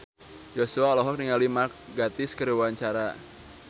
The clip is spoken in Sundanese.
Joshua olohok ningali Mark Gatiss keur diwawancara